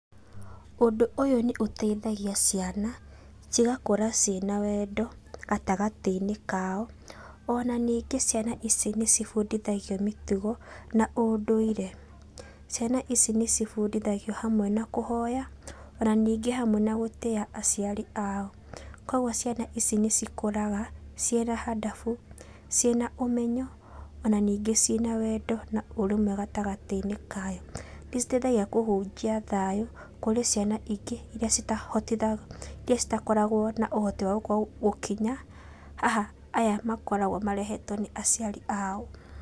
Ũndũ ũyũ nĩ ũteithagia ciana cigakũra ciĩna wendo gatagatĩinĩ kao, ona nĩngĩ ciana ici nĩ cibundithagio mitugo, na ũndũire. Ciana ici nĩcibundithagio hamwe na kũhoya, ona ningĩ hamwe na gũtĩa aciari ao. Koguo ciana ici nĩcikũraga, ciĩna handabu, ciĩna ũmenyo, ona ningĩ ciĩna wendo na ũrũmwe gatagatĩnĩ kao. Nĩciteithagia kũhunjia thayũ kũrĩ ciana ingĩ iria citahotitha iria citakoragwo na ũhoti wa gũkorwo gũkinya, haha aya makoragwo marehetwo ni aciari ao.